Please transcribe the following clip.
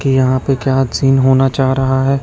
की यहां पे क्या सीन होना चाह रहा है।